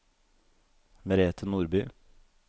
Merethe Nordby